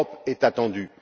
Et l'Europe est attendue.